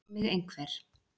spyr mig einhver.